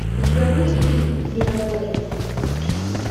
у тебя будет фильм миротворец